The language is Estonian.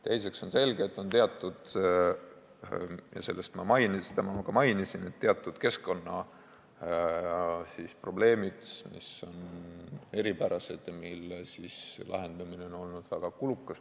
Teiseks on selge, et on – seda ma ka mainisin – teatud keskkonnaprobleemid, mis on eripärased ja mille lahendamine on olnud väga kulukas.